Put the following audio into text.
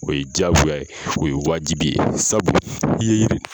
O ye diyagoya ye, o ye wajibi ye sabu i ye yiri.